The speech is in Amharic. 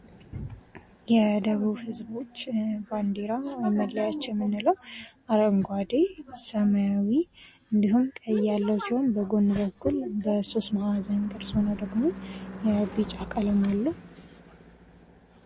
የደቡብ ህዝቦች ባንዲራ ወይም መለያ የምንለው አረንጓዴ ሰማያዊ እንዲሁም ቀይ ያለው ሲሆን በጎን በኩል በሦስት ማዕዘን ቅርጽ ሆኖ ደግሞ ያው የቢጫ ቀለም አለው።